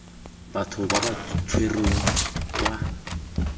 batho ba ba tshwerweng kwa